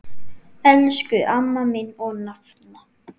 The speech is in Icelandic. Elsku amma mín og nafna.